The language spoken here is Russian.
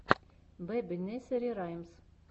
бэби несери раймс